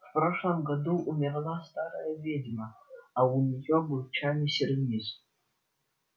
в прошлом году умерла старая ведьма а у неё был чайный сервиз